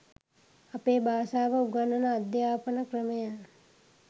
අපේ භාෂාව උගන්වන අධ්‍යාපන ක්‍රමයම